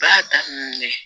Baara daminɛ